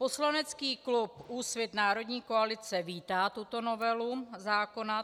Poslanecký klub Úsvit - Národní koalice vítá tuto novelu zákona.